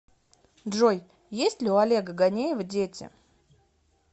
джой есть ли у олега ганеева дети